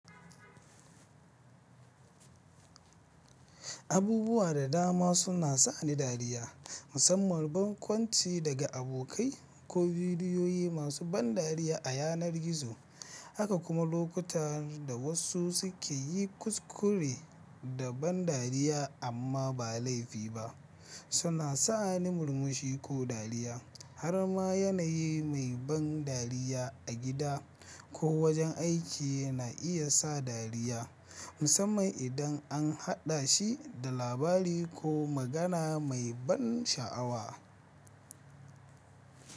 Abubuwa da dama suna sa ni dariya, musamman barkwanci daga abokai ko bidiyoyi masu ban dariya a yanar gizo, haka kuma lokutan da wasu suke yi kuskure da ban dariya amma ba laifi ba, suna sa ni murmushi ko dariya. Har ma yanayi mai ban dariya a gida ko wajen aiki na iya sa dariya, musamman idan an haɗa shi da labari ko magana mai ban sha'awa.